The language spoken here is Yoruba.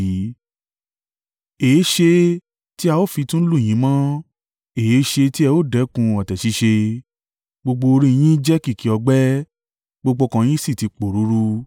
Èéṣe tí a ó fi tún lù yín mọ́? Èéṣe tí ẹ ò dẹ́kun ọ̀tẹ̀ ṣíṣe? Gbogbo orí yín jẹ́ kìkì ọgbẹ́, gbogbo ọkàn yín sì ti pòruurù.